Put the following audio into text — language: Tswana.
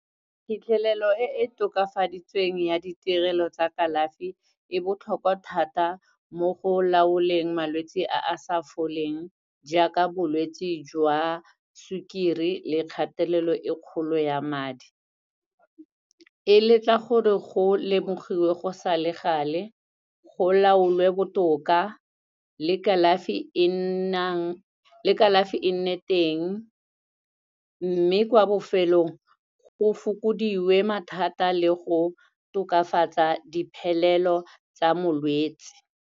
Phitlhelelo e e tokafaditsweng ya ditirelo tsa kalafi, e botlhokwa thata mo go laoleng malwetsi a a sa foleng jaaka, bolwetsi jwa sukiri le kgatelelo e kgolo ya madi. E letla gore go lemogiwe go sa le gale, go laolwe botoka le kalafi e nnang, le kalafi e nne teng. Mme kwa bofelong, go fokodiwe mathata le go tokafatsa diphelelo tsa molwetsi.